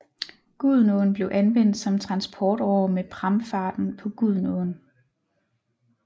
Gudenåen blev anvendt som transportåre med pramfarten på Gudenåen